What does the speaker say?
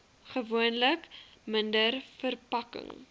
gewoonlik minder verpakking